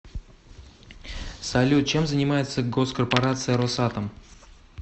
салют чем занимается госкорпорация росатом